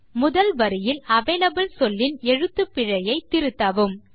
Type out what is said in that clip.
முதல் வரியில் அவலபிள் சொல்லின் எழுத்துப்பிழையை திருத்தவும்